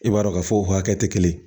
I b'a dɔn k'a fɔ o hakɛ tɛ kelen ye